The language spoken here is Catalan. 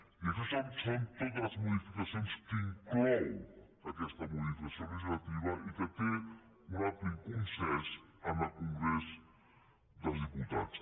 i aquestes són totes les modificacions que inclou aquesta modificació legislativa que té un ampli consens en el congrés dels diputats